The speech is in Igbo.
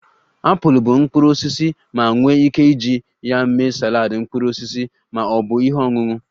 Apụl bụ mkpụrụ osisi ma nwee ike iji ya mee saladị mkpụrụ osisi ma ọ bụ ihe ọṅụṅụ